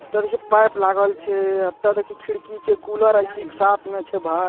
तब ये पाइप लागल छै एता देखी खिड़की छै कुलर ए.सी. के साथ में छै भाए।